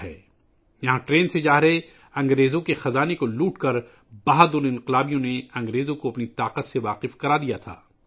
بہادر انقلابیوں نے یہاں ٹرین کے ذریعے جانے والے انگریزوں کے خزانے کو لوٹ کر انگریزوں کو اپنی طاقت کا مظاہرہ کیا تھا